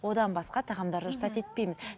одан басқа тағамдарды рұқсат етпейміз